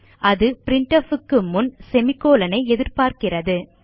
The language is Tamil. அது பிரின்ட்ஃப் க்கு முன் செமிகோலன் ஐ எதிர்பார்க்கிறது